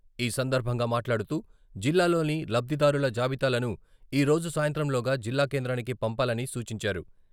ఈ సందర్భంగా మాట్లాడుతూ, జిల్లాలోని లబ్ధిదారుల జాబితాలను ఈ రోజు సాయంత్రం లోగా జిల్లా కేంద్రానికి పంపాలని సూచించారు.